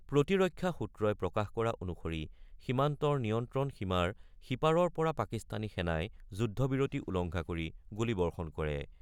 প্ৰতিৰক্ষা সূত্ৰই প্ৰকাশ কৰা অনুসৰি সীমান্তৰ নিয়ন্ত্ৰণ সীমাৰ সিপাৰৰ পৰা পাকিস্তানী সেনাই যুদ্ধ বিৰতি উলংঘা কৰি গুলীবৰ্ষণ কৰে।